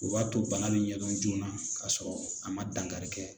O b'a to bana be ɲɛdɔn joona k'a sɔrɔ a ma dankari kɛ